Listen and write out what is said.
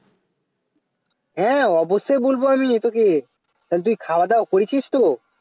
হ্যাঁ অবশ্যই বলব আমি তোকে তাহলে তুই খাওয়া দাওয়া করেছিস তো